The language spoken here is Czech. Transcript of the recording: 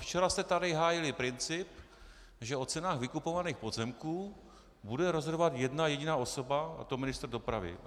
Včera jste tady hájili princip, že o cenách vykupovaných pozemků bude rozhodovat jedna jediná osoba, a to ministr dopravy.